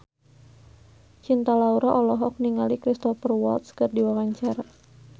Cinta Laura olohok ningali Cristhoper Waltz keur diwawancara